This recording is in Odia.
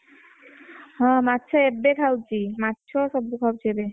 ହଁ ମାଛ ଏବେ ଖାଉଛି। ମାଛ ସବୁ ଖାଉଛି ଏବେ।